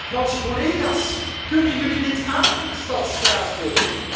Franse collega's, kunnen jullie dit aan in de stad Straatsburg?